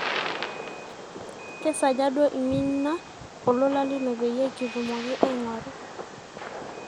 kesaaja duo iminie olola lino peyie kitumoki aigoru